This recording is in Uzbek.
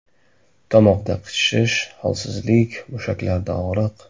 Tomoqda qichishish, holsizlik, mushaklarda og‘riq.